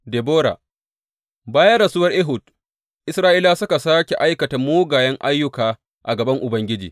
Debora Bayan rasuwar Ehud, Isra’ilawa suka sāke aikata mugayen ayyuka a gaban Ubangiji.